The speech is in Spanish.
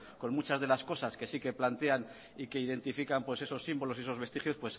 con muchas de las cosas que sí que plantean y que identifican pues esos símbolos y esos vestigios